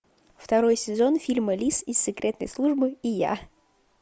второй сезон фильма лис из секретной службы и я